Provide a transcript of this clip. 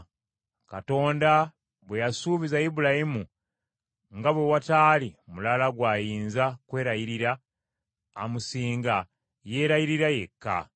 Katonda bwe yasuubiza Ibulayimu, nga bwe wataali mulala gw’ayinza kwerayirira amusinga, yeerayirira yekka.